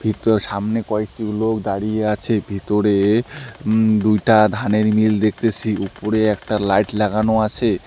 ইতো সামনে কয়েকটি লোক দাঁড়িয়ে আছে ভিতরে উম দুইটা ধানের মিল দেখতেসি উপরে একটা লাইট লাগানো আছে।